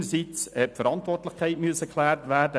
Einerseits musste die Verantwortlichkeit geklärt werden: